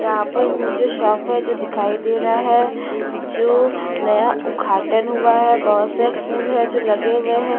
यहाँ पर मुझे शॉप है जो दिखाई दे रहा है जो नया उद्घाटन हुआ है बहुत से फूल हैं जो लगे हुए हैं।